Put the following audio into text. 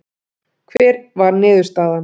Hver var niðurstaðan